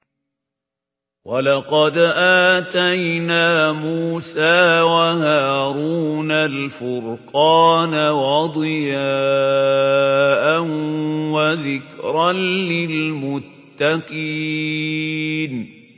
وَلَقَدْ آتَيْنَا مُوسَىٰ وَهَارُونَ الْفُرْقَانَ وَضِيَاءً وَذِكْرًا لِّلْمُتَّقِينَ